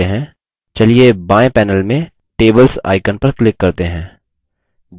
बाएं panel में tables icon पर click करते हैं